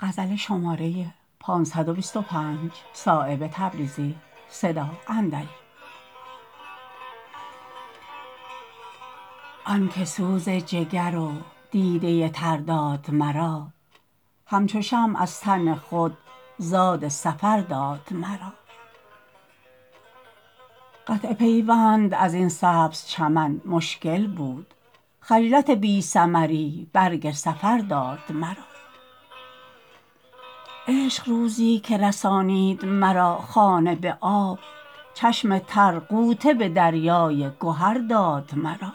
آن که سوز جگر و دیده تر داد مرا همچو شمع از تن خود زاد سفر داد مرا قطع پیوند ازین سبز چمن مشکل بود خجلت بی ثمری برگ سفر داد مرا عشق روزی که رسانید مرا خانه به آب چشم تر غوطه به دریای گهر داد مرا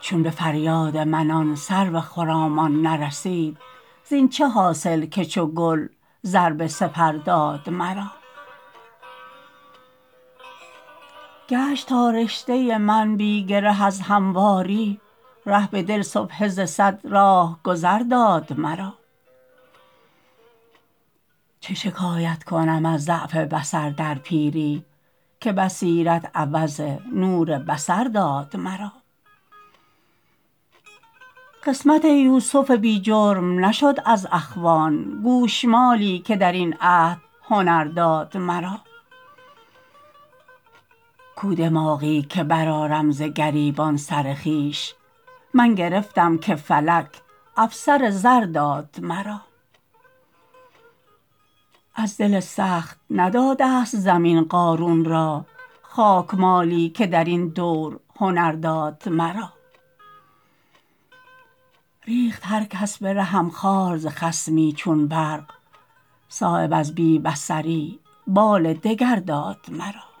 چون به فریاد من آن سرو خرامان نرسید زین چه حاصل که چو گل زر به سپر داد مرا گشت تا رشته من بی گره از همواری ره به دل سبحه ز صد راهگذار داد مرا چه شکایت کنم از ضعف بصر در پیری که بصیرت عوض نور بصر داد مرا قسمت یوسف بی جرم نشد از اخوان گوشمالی که درین عهد هنر داد مرا کو دماغی که برآرم ز گریبان سر خویش من گرفتم که فلک افسر زر داد مرا از دل سخت نداده است زمین قارون را خاکمالی که درین دور هنر داد مرا ریخت هر کس به رهم خار ز خصمی چون برق صایب از بی بصری بال دگر داد مرا